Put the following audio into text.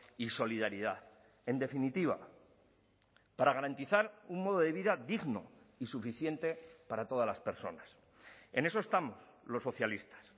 y solidaridad en definitiva para garantizar un modo de vida digno y suficiente para todas las personas en eso estamos los socialistas